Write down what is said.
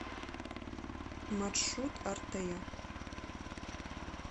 маршрут артея